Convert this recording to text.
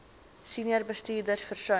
senior bestuurders versuim